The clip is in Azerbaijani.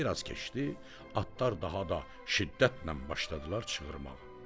Bir az keçdi, atlar daha da şiddətlə başladılar çığırmağa.